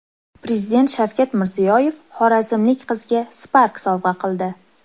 Prezident Shavkat Mirziyoyev xorazmlik qizga Spark sovg‘a qildi .